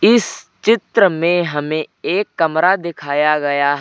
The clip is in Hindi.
इस चित्र में हमें एक कमरा दिखाया गया है।